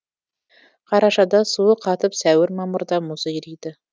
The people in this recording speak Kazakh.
қарашада суы қатып сәуір мамырда мұзы ериді